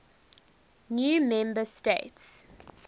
new member states